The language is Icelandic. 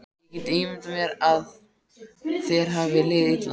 Ég get ímyndað mér að þér hafi liðið illa.